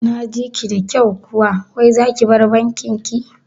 Naji ki da kyau kuwa wai zaki bar bankin ki?